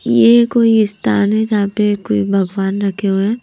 ये कोई स्थान हैजहां पे कोई भगवान रखे हुए हैं।